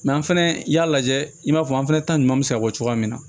an fɛnɛ y'a lajɛ i b'a fɔ an fɛnɛ ta ɲuman bɛ se ka bɔ cogoya min na